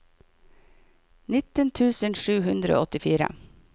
nitten tusen sju hundre og åttifire